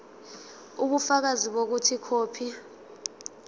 ubufakazi bokuthi ikhophi